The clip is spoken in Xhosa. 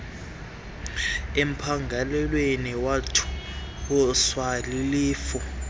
empangelweni wothuswa lilifu